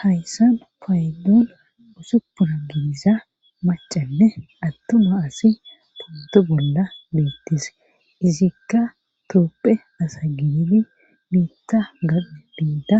hayssan payduun usupuna giniza macanne attuma asi puntu bolla beettise izikka toopphe asa giniri miitta ganne biida